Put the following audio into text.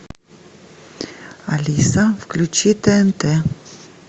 алиса включи тнт